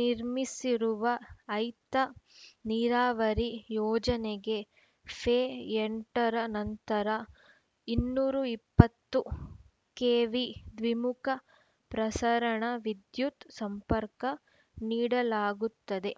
ನಿರ್ಮಿಸಿರುವ ಐತ ನೀರಾವರಿ ಯೋಜನೆಗೆ ಫೆ ಎಂಟರ ನಂತರ ಇನ್ನೂರ ಇಪ್ಪತ್ತು ಕೆವಿ ದ್ವಿಮುಖ ಪ್ರಸರಣ ವಿದ್ಯುತ್‌ ಸಂಪರ್ಕ ನೀಡಲಾಗುತ್ತದೆ